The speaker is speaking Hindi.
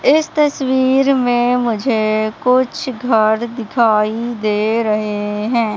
इस तस्वीर में मुझे कुछ घर दिखाई दे रहे हैं।